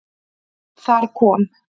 Þar kom